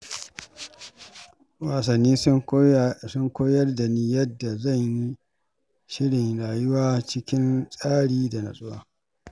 Wasanni sun koyar da ni yadda zan yi shirin rayuwa cikin tsari da natsuwa.